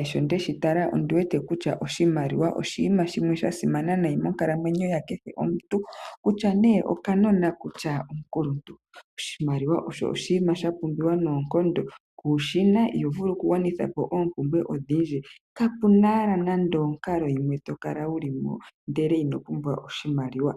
ashike oshimaliwa osha simana monkalamwenyo yakehe omuntu okuza kuunona sigo okaakulupe. Oshoka oshinima sha pumbiwa noonkondo ngele kushina iho vulu oku gwanitha po oompumbwe dhoye. Kuna onkalo to kala wuli muyo ndele kuna oshimaliwa.